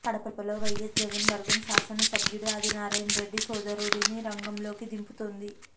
కడపలో వైయస్ జగన్ వర్గం శాసనసభ్యుడు ఆదినారాయణ రెడ్డి సోదరుడిని రంగంలోకి దింపుతోంది